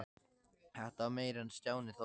Þetta var meira en Stjáni þoldi.